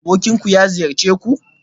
Abokinku ya ziyarce ku?